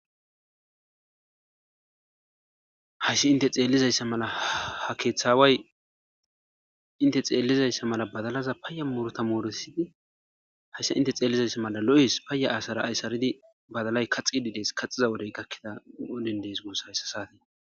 Hayisi hinite xelizaysa mala ha keeththa aawayi hinte xeelizayisa mala badalaza muruta murutisidi hayisa hinte xeelizayisa mala papaya asa mala asara asatidi badalayi kaaththidi Wodenin kanthidi desigusa ha wodeni